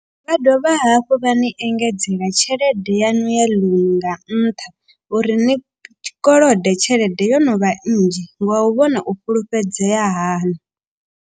Vha dovha hafhu vha ni engedzela tshelede yaṋu ya ḽounu nga nṱha. U ri ni kolode tshelede yo no vha nnzhi nga u vhona u fhulufhedzea haṋu.